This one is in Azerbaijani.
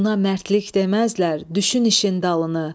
Buna mərdlik deməzlər, düşün işin dalını.